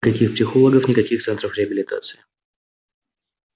каких психологов никаких центров реабилитации